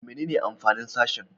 Menene amfanin sashen?